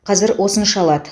қазір осынша алады